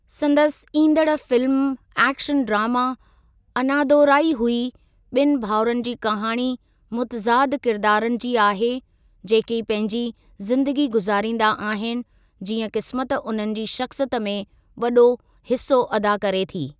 संदसि ईंदड़ film action drama अनादोराई हुई ॿिन भाउरन जी कहाणी मुतज़ाद किरदारनि जी आहे जेकी पंहिंजी ज़िंदगी गुज़ारींदा आहिनि जीअं क़िस्मत उन्हनि जी शख़्सियत में वॾो हिसो अदा करे थी।